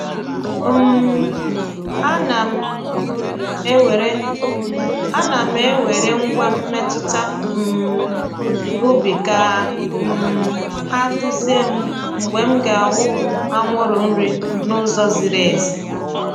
um Ana m ewere Ana m ewere ngwa mmetụta um ubi ka um ha duzie m mgbe m ga-awụpụ anwụrụ nri n’ụzọ ziri ezi.